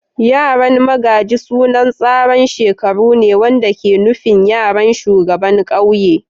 Yaran magaji sunan tsaran shekaru ne wanda ke nufin yaran shugaban kauye.